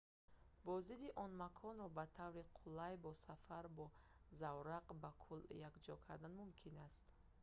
боздиди он маконро ба таври қулай бо сафар бо заврақ ба кӯл якҷоя кардан мумкин аст